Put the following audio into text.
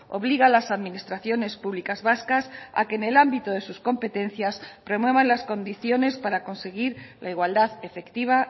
obliga a las administraciones públicas vascas a que en el ámbito de sus competencias promuevan las condiciones para conseguir la igualdad efectiva